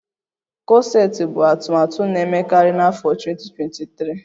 Kọseti bụ atụmatụ na-emekarị n'afọ 2023